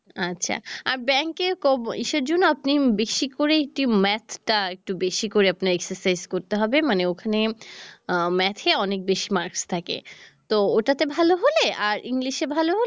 আচ্ছা আর ব্যাংকের সে জন্য আপনি বেশী করে math টা একটু বেশী করে আপনি exercise করতে হবে, মানে ওখানে আহ math এ অনেক বেশী marks থাকে তো ওটা তে ভাল হলে আর english এ ভাল হলে